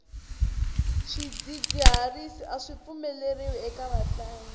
swidzidziharisi aswi pfumeleriwi eka vatlangi